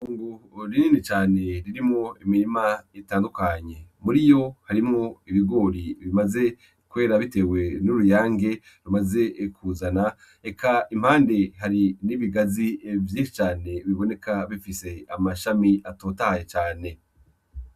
Ungu rinini cane ririmo imirima itandukanye muri iyo harimo ibigori bimaze kwera, bitewe n'uruyange rumaze kuzana eka impande hari n'ibigazi evyi cane biboneka bifise amashami atotahaye cane.